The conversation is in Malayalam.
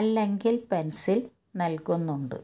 അല്ലെങ്കിൽ പെൻസിൽ നല്കുന്നുണ്ട്